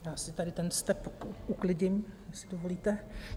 Já si tady ten step uklidím, jestli dovolíte.